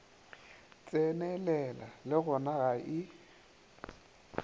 tsenelela le gona ga e